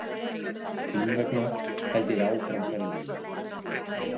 Þín vegna held ég áfram ferð minni.